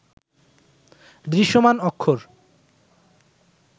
দৃশ্যমান অক্ষর